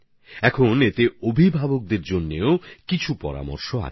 এখন এর মধ্যে মাবাবাদের জন্যও কিছু মন্ত্র যুক্ত করা হয়েছে